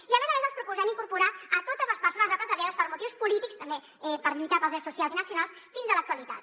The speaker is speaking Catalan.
i a més a més els proposem incorporar hi totes les persones represaliades per motius polítics també per lluitar pels drets socials i nacionals fins a l’actualitat